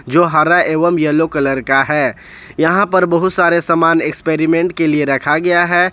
जो हरा एवं येलो कलर का है यहां पर बहुत सारे सामान एक्सपेरिमेंट के लिए रखा गया है।